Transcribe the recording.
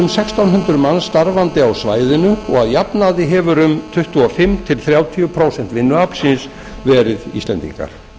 hundruð manns starfandi á svæðinu og að jafnaði hefur um tuttugu og fimm til þrjátíu prósent vinnuaflsins verið íslendingar